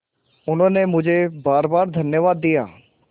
उन्होंने मुझे बारबार धन्यवाद दिया